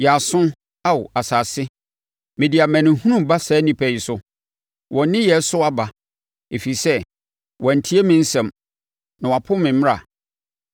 Yɛ aso, Ao asase: Mede amanehunu reba saa nnipa yi so, wɔn nneyɛɛ so aba, ɛfiri sɛ wɔantie me nsɛm na wɔapo me mmara.